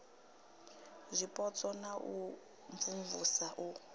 zwipotso na u imvumvusa u